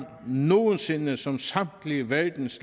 nogen sinde som samtlige verdens